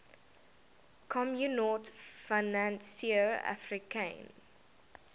communaute financiere africaine